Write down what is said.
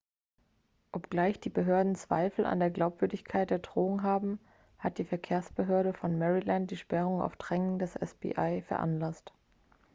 obgleich die behörden zweifel an der glaubwürdigkeit der drohung haben hat die verkehrsbehörde von maryland die sperrung auf drängen des fbi veranlasst